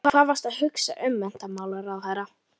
Og hvað varstu að hugsa um menntamálaráðherra?